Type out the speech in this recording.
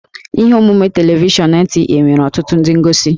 Ihe omume telivishọn NTA nwere ọtụtụ ndị ngosi